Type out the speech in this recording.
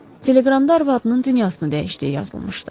Teleqramda arvadının dünyasını dəyişdiyi yazılmışdı.